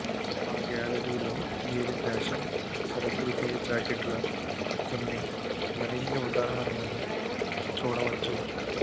మా గ్యాలరీలో మీరు ఫాషన్ శరదృతువు జాకెట్ల కొన్ని మరిన్ని ఉదాహరణలు చూడవచ్చు